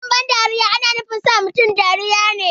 Abin ban dariya ana nufin sa mutane dariya ne